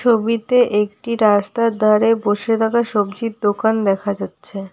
ছবিতে একটি রাস্তার ধারে বসে থাকা সবজির দোকান দেখা যাচ্ছে।